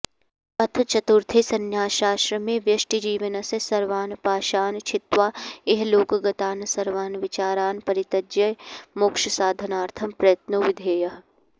अथ चतुर्थे संन्यासाश्रमे व्यष्टिजीवनस्य सर्वान् पाशान् छित्त्वा इहलोकगतान् सर्वान् विचारान् परित्यज्य मोक्षसाधनार्थं प्रयत्नो विधेयः